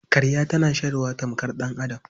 Karya tana shayarwa tamkar ɗan'adam.